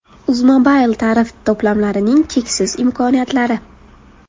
Uzmobile tarif to‘plamlarining cheksiz imkoniyatlari!.